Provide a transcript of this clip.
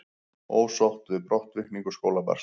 Ósátt við brottvikningu skólabarns